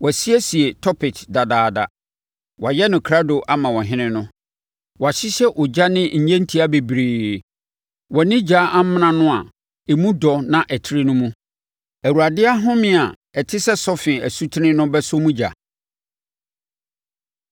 Wɔasiesie Topet dadaada; wɔayɛ no krado ama ɔhene no. Wɔahyehyɛ ogya ne nnyentia bebree wɔ ne ogya amena no a emu dɔ na ɛtrɛ no mu; Awurade ahome a ɛte sɛ sɔfe asutene no bɛsɔ mu ogya.